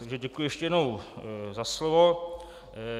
Takže děkuji ještě jednou za slovo.